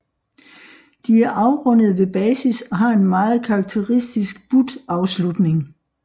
De er afrundede ved basis og har en meget karakteristisk but afslutning